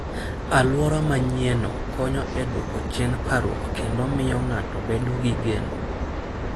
Alwora manyienno konyo e dwoko chien parruok kendo miyo ng'ato bedo gi geno.